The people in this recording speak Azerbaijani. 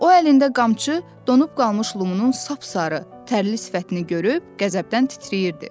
O əlində qamçı donub qalmış Lumunun sap-sarı tərli sifətini görüb qəzəbdən titrəyirdi.